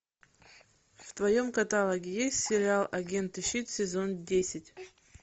в твоем каталоге есть сериал агенты щит сезон десять